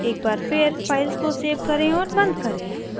एक बार फिर files को सेव करें और बंद करें